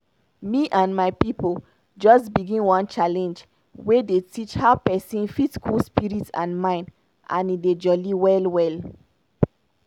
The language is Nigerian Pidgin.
me and my pipo just begin one challenge wey dey teach how pesin fit cool spirit and mind and e dey jolly well well.